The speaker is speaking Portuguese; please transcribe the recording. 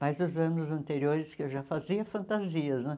Mas os anos anteriores que eu já fazia, fantasias, né?